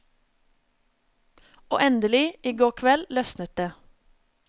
Og endelig, i går kveld løsnet det.